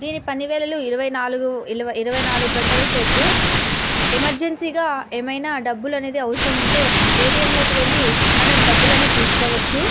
ఇది పని వేళల ఇరవైనాల్గు గంటలు సేపు ఎమెర్జెన్సీ గ ఏమైనా డబ్బులు అవసరం ఉంటె ఏ. టీ. ఎం. లోకి వెళ్లి మనం డబ్బులను తీసుకోవచ్చు --